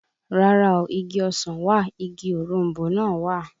Rárá o, igi ọsàn wà, igi òroǹbó náà wà